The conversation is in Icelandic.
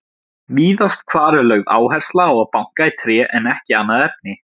Víðast hvar er lögð áhersla á að banka í tré en ekki annað efni.